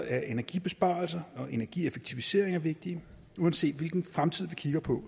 er energibesparelser og energieffektiviseringer vigtige uanset hvilken fremtid vi kigger på